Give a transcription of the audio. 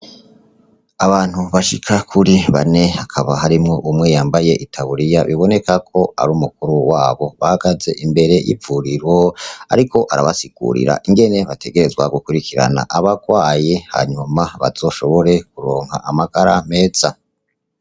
Abantu bashika kuri bane hakaba harimwo umwe yambaye i tawuriya biboneka ko ari umukuru wabo bagaze imbere y'ipfuriro, ariko arabasikurira ingene bategerezwa gukurikirana abarwaye hanyuma bazoshobore kuronka amagara meza.